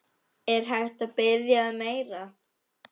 Er hægt að biðja um meira?